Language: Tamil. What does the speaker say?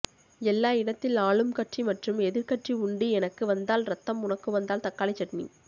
எல்லா இடத்தில் ஆளும் கட்சி மற்றும் எதிர் கட்சி உண்டு எனக்கு வந்தால் ரத்தம் உனக்கு வந்தால் தக்காளி சட்னி